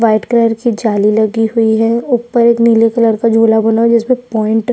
white colour की जाली लगी हुई है ऊपर नीले कलर का झुला बना है जिसमे पैंट --